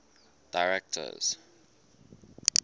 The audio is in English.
directors